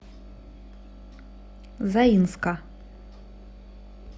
заинска